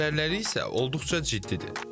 Zərərləri isə olduqca ciddidir.